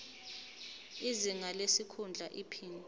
izinga lesikhundla iphini